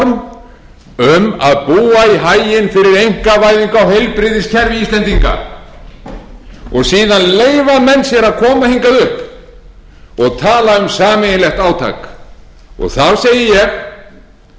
um að búa í haginn fyrir einkavæðingu á heilbrigðiskerfi íslendinga síðan leyfa menn sér að koma hingað upp og tala um sameiginlegt átak og þá segi ég